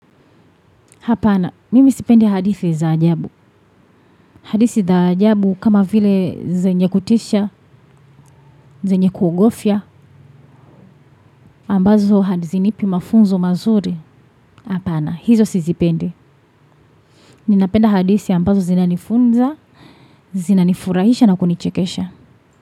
Hapana, mimi sipendi hadithi za ajabu. Hadithi za ajabu kama vile zenye kutisha, zenye kuogofya, ambazo hazinipi mafunzo mazuri. Hapana, hizo sizipendi. Ninapenda hadithi ambazo zina nifunza, zinanifurahisha na kunichekesha.